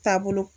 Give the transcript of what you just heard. Taabolo